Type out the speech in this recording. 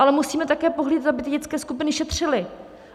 Ale musíme také pohlídat, aby ty dětské skupiny šetřily.